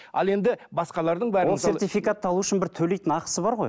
ал енді басқалардың бәрін сертификатты алу үшін бір төлейтін ақысы бар ғой